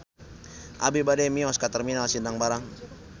Abi bade mios ka Terminal Sindang Barang